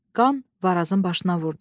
Qan Varazın başına vurdu.